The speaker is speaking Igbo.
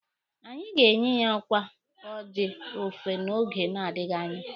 Anyị ga-enye ya ọkwa oji ọfọ n'oge na-adịghi anya.